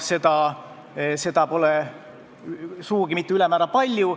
Seda pole sugugi mitte ülemäära palju.